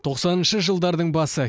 тоқсаныншы жылдардың басы